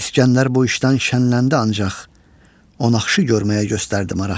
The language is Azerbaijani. İskəndər bu işdən şənləndi ancaq, o naxşı görməyə göstərdi maraq.